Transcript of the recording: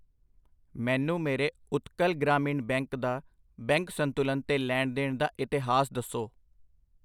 ਮੈਨੂੰ ਮੇਰੇ ਉਤਕਲ ਗ੍ਰਾਮੀਣ ਬੈਂਕ ਦਾ ਬੈਂਕ ਸੰਤੁਲਨ ਤੇ ਲੈਣ ਦੇਣ ਦਾ ਇਤਿਹਾਸ ਦੱਸੋ I